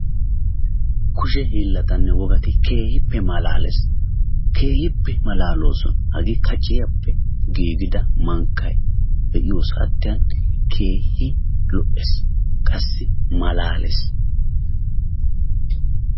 Kushe hiillatinne wogati keehippe malaalees, keehippe malaaloosona. Hage kaciyappe giigida mankkay be'iyo saatiyan keehin lo''ees, qassi malaalees.